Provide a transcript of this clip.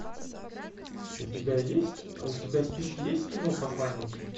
у тебя есть у тебя в списке есть кино посланники